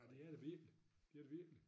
Ja det er der virkelig det virkelig